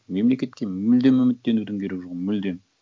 мемлекетке мүлдем үміттенудің керегі жоқ мүлдем